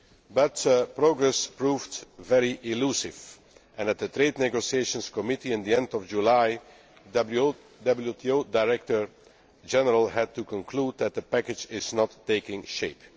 But progress proved very elusive, and at the Trade Negotiations Committee at the end of July, the WTO Director General had to conclude that the package was not taking shape.